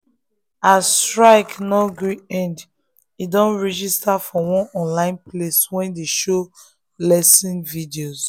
as strike no gree end e don register for one online place wey dey show lesson videos.